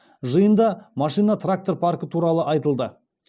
жиында машина трактор паркі туралы айтылды